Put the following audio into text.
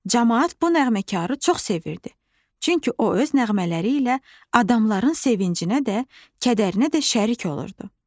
Camaat bu nəğməkarı çox sevirdi, çünki o öz nəğmələri ilə adamların sevincinə də, kədərinə də şərik olurdu.